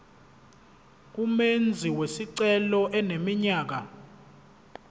umenzi wesicelo eneminyaka